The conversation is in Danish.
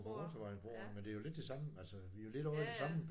På motorvejsbroen men det er jo lidt det samme altså vi er jo lidt ovre i det samme